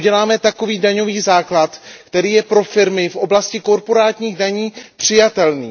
uděláme takový daňový základ, který je pro firmy v oblasti korporátních daní přijatelný.